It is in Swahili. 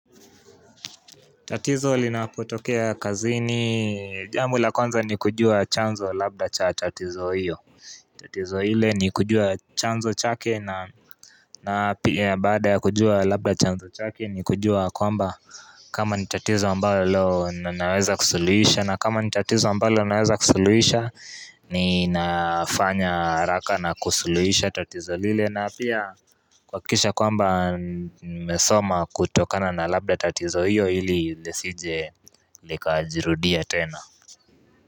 Tatizo linapotokea kazini jambo la kwanza ni kujua chanzo labda cha tatizo hiyo tatizo ile ni kujua chanzo chake na na pia baada ya kujua labda chanzo chake ni kujua kwamba kama ni tatizoa ambalo leo naweza kusuluisha na kama ni tatizo ambalo naweza kusuluisha ni nafanya haraka na kusuluisha tatizo lile na pia kuhakikisha kwamba nimesoma kutokana na labda tatizo hiyo hili lisije likajirudia tena.